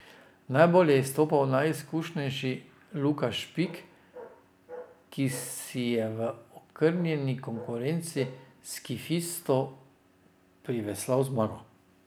Najbolj je izstopal najizkušenejši, Luka Špik, ki si je v okrnjeni konkurenci skifistov priveslal zmago.